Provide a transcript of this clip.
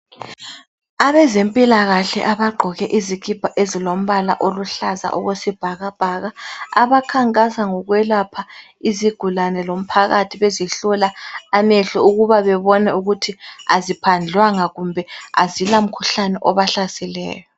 Abezempilakahle abagqoke izikhipha ezilombala oluhlaza okwesibhakabhaka abakhankasa ngokwelapha izigulane lomphakathi bezihlola amehlo ukuba bebone ukuthi aziphandlwanga kumbe azila mkhuhlane obahlaseleyo.